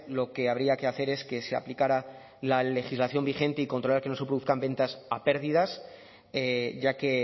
lo que habría que hacer es que se aplicara la legislación vigente y controlar que no se produzcan ventas a pérdidas ya que